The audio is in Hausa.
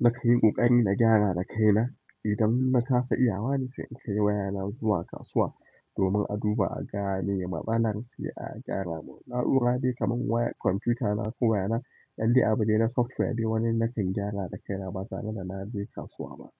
na kan yi ƙoƙari na gyara da kaina. Idan ba na kasa iyawa ne sai in kai wayana zuwa kasuwa domin a duba a ga me matsalar si a gyara. Na'ura dai kamar wayar kwamfiyuta na ko waya na ɗan de abu dai na software dai wani na kan gyara da kaina ba tare da na je kasuwa ba.